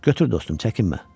Götür dostum, çəkinmə.